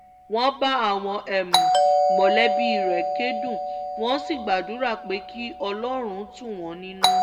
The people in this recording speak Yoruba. wọ́n bá àwọn mọ̀lẹ́bí rẹ̀ kẹ́dùn wọ́n sì gbàdúrà pé kí ọlọ́run tù wọ́n nínú